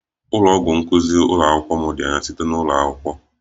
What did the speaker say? Ụlọ ọgwụ nkuzi ụlọ akwụkwọ m dị anya site na ụlọ akwụkwọ